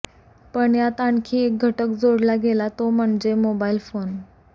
पण यात आणखी एक घटक जोडला गेला तो म्हणजे मोबाईल फोन